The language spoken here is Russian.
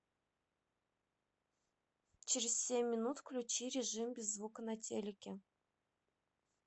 через семь минут включи режим без звука на телике